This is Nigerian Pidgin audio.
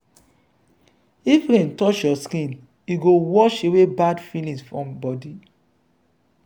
if rain touch your skin e go wash away bad feelings from body.